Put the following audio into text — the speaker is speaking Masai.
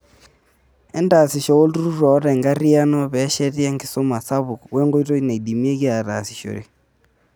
Entaasisho wolturrurr oota enkarriyano peesheti enkisuma sapuk wenkoitoi naidimieki aatasishore.